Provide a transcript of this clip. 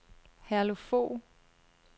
Herluf Fogh